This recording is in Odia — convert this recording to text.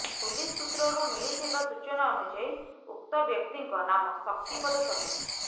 ପୁଲିସ ସୁତ୍ରରୁ ମିଳିଥିବା ସୂଚନା ଅନୁଯାୟୀ ଉକ୍ତ ବ୍ୟକ୍ତିଙ୍କ ନାମ ଶକ୍ତିପଦ ସର୍ଦ୍ଦାର